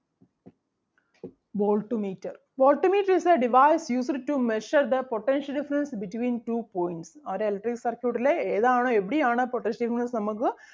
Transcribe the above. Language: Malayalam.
volt meter volt meter is the device used to measure the potential difference between two points ഒരു electric circuit ലെ ഏതാണ് എവിടെയാണ് potential difference നമ്മക്ക്